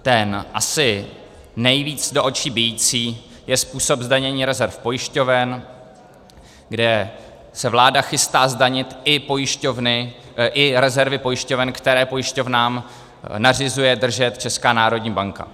Ten asi nejvíc do očí bijící je způsob zdanění rezerv pojišťoven, kde se vláda chystá zdanit i pojišťovny, i rezervy pojišťoven, které pojišťovnám nařizuje držet Česká národní banka.